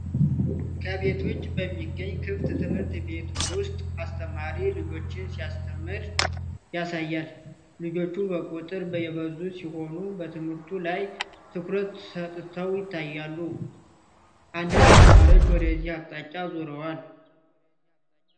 ከቤት ውጭ በሚገኝ ክፍት ትምህርት ቤት ውስጥ አስተማሪ ልጆችን ሲያስተምር ያሳያል። ልጆቹ በቁጥር የበዙ ሲሆኑ፣ በትምህርቱ ላይ ትኩረት ሰጥተው ይታያሉ። አንዳንድ ተማሪዎች ወደዚህ አቅጣጫ ዙረዋል፡፡